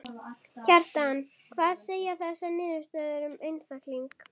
Kjartan: Hvað segja þessar niðurstöður um einstakling?